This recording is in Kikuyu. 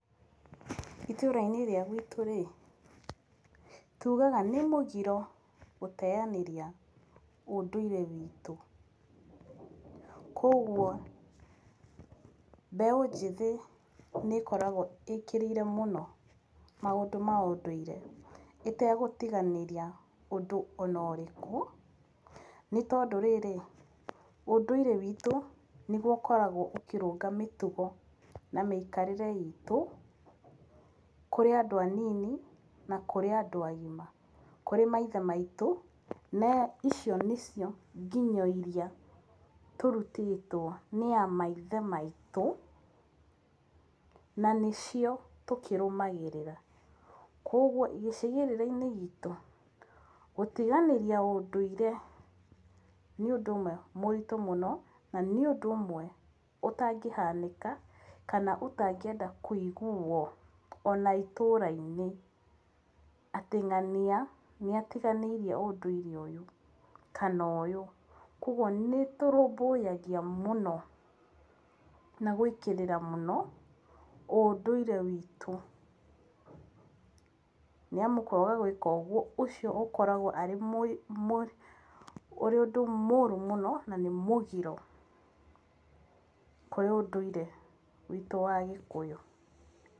Itũra-inĩ rĩa gwitũ-rĩ, tugaga nĩ mũgiro gũteanĩria ũndũire witũ, kuoguo mbeũ njĩthĩ nĩĩkoragwo ĩkĩrĩire mũno maũndũ ma ũndũire, ĩtegũtiganĩria ũndũ ona ũrĩkũ, nĩtondũ rĩrĩ, ũndũire witũ nĩgũo ũkoragwo ũkĩrũnga mĩtugo na mĩikarĩre itũ kũrĩ andũ anini na kũrĩ andũ agima, kũrĩ maithe maitũ na icio nĩcio nginyo iria tũrutĩtwo nĩ a maithe maitũ na nĩcio tũkĩrũmagĩrĩra, kuoguo gĩcigĩrĩra-inĩ gitũ, gũtiganĩria ũndũire nĩ ũndũ ũmwe mũritũ mũno na nĩ ũndũ ũmwe ũtangĩhanĩka kana ũtangĩenda kũiguo ona itũra-inĩ atĩ ng'ania nĩatiganĩirie ũndũire ũyũ kana ũyũ, kuoguo nĩtũrũmbũyagia mũno na gwĩkĩrĩra mũno ũndũire witũ nĩamu kwaga gwĩka ũguo ũcio ũkoragwo arĩ mũi mũi ũrĩ ũndũ mũru mũno na nĩ mũgiro kũrĩ ũndũire witũ wa Gĩkũyũ.